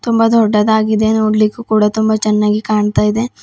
ತುಂಬ ದೊಡ್ಡದಾಗಿದೆ ನೋಡಲಿಕ್ಕೂ ಕೂಡ ತುಂಬ ಚೆನ್ನಾಗಿ ಕಾಣ್ತಾ ಇದೆ.